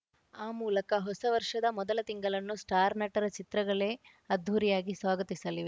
ಆ ಮೂಲಕ ಹೊಸ ವರ್ಷದ ಮೊದಲ ತಿಂಗಳನ್ನು ಸ್ಟಾರ್‌ ನಟರ ಚಿತ್ರಗಳೇ ಅದ್ದೂರಿಯಾಗಿ ಸ್ವಾಗತಿಸಲಿವೆ